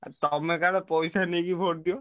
ତମେ ତାହେଲେ ପଇସା ନେଇକି vote ଦିଅ?